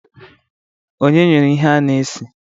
Onye nyụrụ ihe a na-esi?